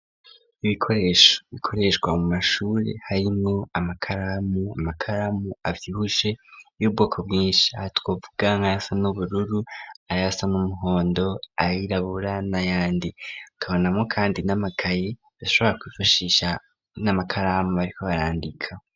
Ibikoresho bikoreshwa mu mashuri, harimwo amakaramu, amakaramu avyisbushe y'ubwoko bwinshi, twovuga nk'ayasa n'ubururu, ayasa n'umuhondo, ayirabura, n'ayandi; tubonamo kandi n'amakaye bashobora kwifashisha, n'amakaramu bariko barandika.